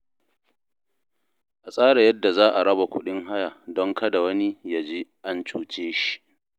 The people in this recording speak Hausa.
A tsara yadda za a raba kuɗin haya don kada wani ya ji an cuce shi.